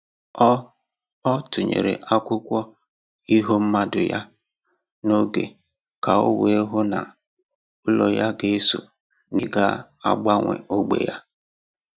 Ọ Ọ tụnyere akwụkwọ iho mmadụ ya n'oge ka o wee hụ ná olu ya ga eso n'ìhè ga agbanwe ógbè ya.